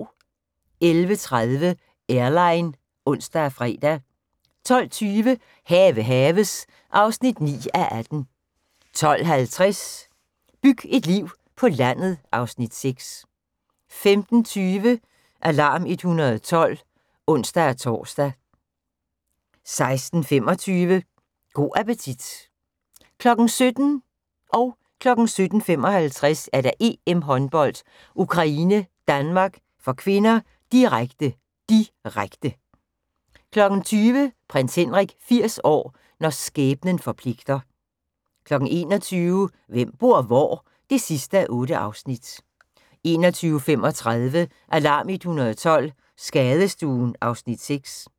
11:30: Airline (ons og fre) 12:20: Have haves (9:18) 12:50: Byg et liv på landet (Afs. 6) 15:20: Alarm 112 (ons-tor) 16:25: Go' appetit 17:00: EM-håndbold: Ukraine-Danmark (k), direkte, direkte 17:55: EM-håndbold: Ukraine-Danmark (k), direkte, direkte 20:00: Prins Henrik 80 år – når skæbnen forpligter 21:00: Hvem bor hvor? (8:8) 21:35: Alarm 112 – Skadestuen (Afs. 6)